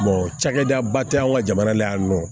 cakɛdaba tɛ an ka jamana la yan nɔ